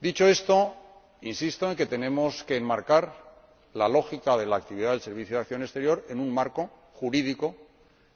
Dicho esto, insisto en que tenemos que enmarcar la lógica de la actividad del Servicio Europeo de Acción Exterior en un marco jurídico,